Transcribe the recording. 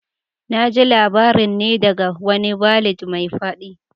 Na ji labarin ne daga wani ballad mai fadi